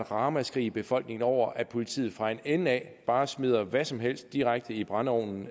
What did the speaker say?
ramaskrig i befolkningen over at politiet fra en ende af bare smider hvad som helst direkte i brændeovnen